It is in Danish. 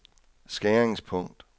skæringspunkt